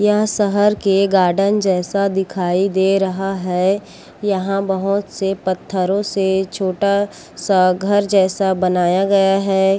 यह शहर के गार्डन जैसे दिखाई दे रहा है यहाँ बहुत से पत्थरों से छोटा सा घर जैसा बनाया गया है।